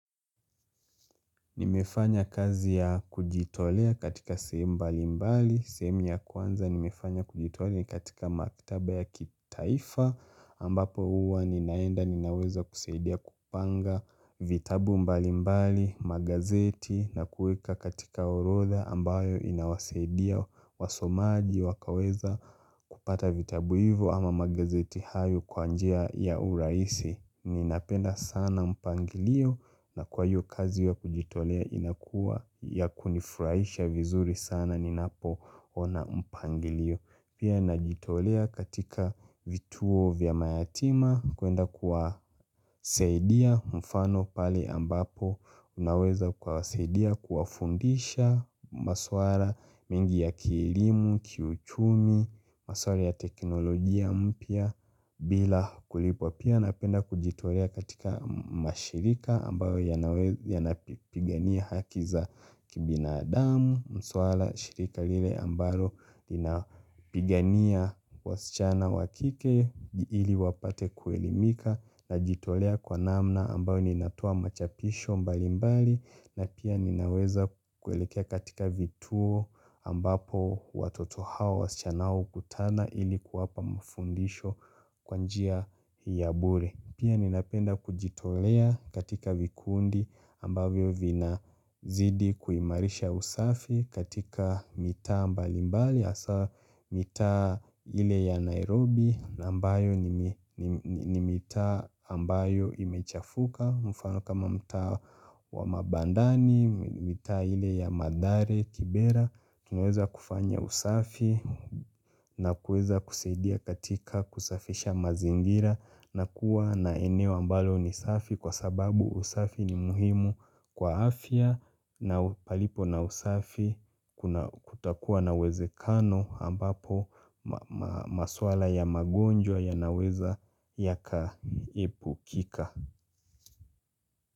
Nimefanya kazi ya kujitolea katika sehemu mbali mbali, sehemu ya kwanza nimefanya kujitolea katika maktaba ya kitaifa ambapo huwa ninaenda ninaweza kusaidia kupanga vitabu mbali mbali, magazeti na kuweka katika orodha ambayo inawasadia wasomaji wakaweza kupata vitabu hivo ama magazeti hayo kwa njia ya urahisi Ninapenda sana mpangilio na kwa hiyo kazi wa kujitolea inakua ya kunifurahisha vizuri sana ninapo ona mpangilio Pia najitolea katika vituo vya mayatima kuenda kuwasaidia mfano pale ambapo naweza kuwasaidia kuwafundisha maswala mingi ya kielimu, kiuchumi, maswala ya teknolojia mpya bila kulipwa Pia napenda kujitolea katika mashirika ambayo yanapigania haki za kibinadamu Mswala shirika lile ambayo linapigania wasichana wa kike ili wapate kuelimika najitolea kwa namna ambayo ninatoa machapisho mbali mbali na pia ninaweza kuelekea katika vituo ambapo watoto hawa wasichana hukutana ili kuwapa mafundisho kwa njia ya bure Pia ninapenda kujitolea katika vikundi ambavyo vina zidi kuimarisha usafi katika mitaa mbalimbali hasaa mitaa ile ya Nairobi na ambayo ni mitaa ambayo imechafuka mfano kama mtaa wa ma bandani, mitaa ile ya mathare, kibera Tunaeza kufanya usafi na kueza kusaidia katika kusafisha mazingira na kuwa na eneo ambalo ni safi kwa sababu usafi ni muhimu kwa afya na palipo na usafi kutakuwa na uwezekano ambapo maswala ya magonjwa yanaweza yaka epukika.